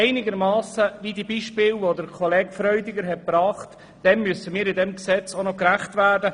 Wir sollten aber den von Kollege Freudiger gebrachten Beispielen in diesem Gesetz einigermassen gerecht werden.